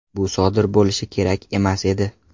Bu sodir bo‘lishi kerak emas edi.